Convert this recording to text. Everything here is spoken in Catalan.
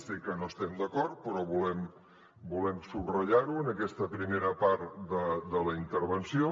sé que no estem d’acord però volem subratllar ho en aquesta primera part de la intervenció